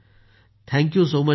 भावनाः धन्यवाद सर